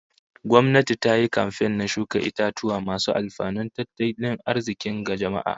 Gwamnati ta yi kamfen na shuka itatuwa masu alfanun tattalin arzikin ga jama'a